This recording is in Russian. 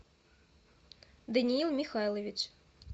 даниил михайлович